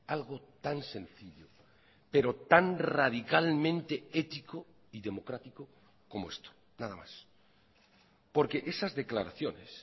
algo tan sencillo pero tan radicalmente ético y democrático como esto nada más porque esas declaraciones